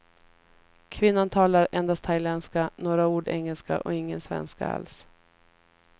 Kvinnan talar endast thailändska, några ord engelska och ingen svenska alls.